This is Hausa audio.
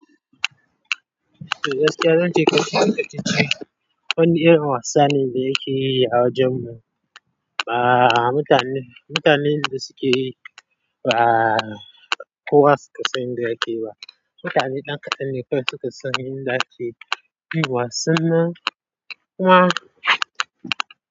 Gaskiya zance wani irn wasa ne da yake yi a wajan mu ba mutan mutanen da suke ba kowa su ka san inda yake ba. Mutane ɗan kaɗan ne kawai su ka san inda ake irin wasan nan. Kuma.